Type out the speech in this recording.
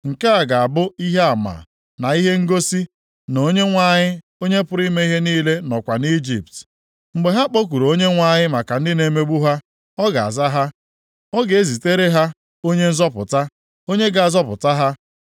Nke a ga-abụ ihe ama na ihe ngosi, na Onyenwe anyị, Onye pụrụ ime ihe niile nọkwa nʼIjipt. Mgbe ha kpọkuru Onyenwe anyị maka ndị na-emegbu ha, ọ ga-aza ha, ọ ga-ezitere ha onye nzọpụta, onye ga-azọpụta ha.